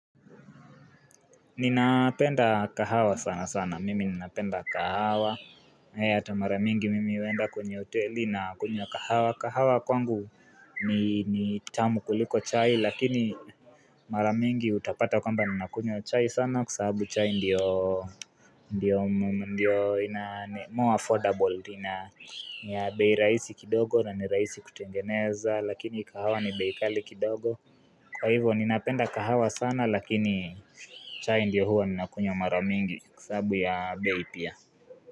Ninapenda kahawa sana sana, mimi ninapenda kahawa hata maramingi mimi huenda kwenye hoteli na kunywa kahawa kahawa kwangu ni tamu kuliko chai lakini maramingi utapata kwamba ninakunywa chai sana Kwa sahabu chai ndio more affordable ni bei raisi kidogo na ni raisi kutengeneza lakini kahawa ni bei kali kidogo Kwa hivyo ninapenda kahawa sana lakini chai ndio huwa ninakunywa mara mingi Kwa sababu ya bei pia.